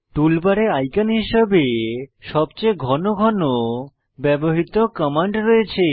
টুলবারে আইকন হিসাবে সবচেয়ে ঘন ঘন ব্যবহৃত কমান্ড রয়েছে